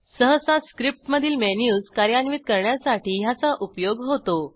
सहसा स्क्रिप्टमधील मेनूज कार्यान्वित करण्यासाठी ह्याचा उपयोग होतो